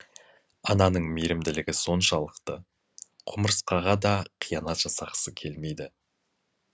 ананың мейірімділігі соншалықты құмырсқаға да қиянат жасағысы келмейді